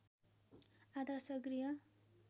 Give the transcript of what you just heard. आदर्श गृह